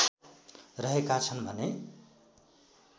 रहेका छन् भने